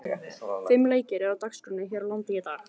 Fimm leikir eru á dagskránni hér á landi í dag.